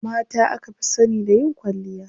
Mata aka fi sani da yin kwalliya.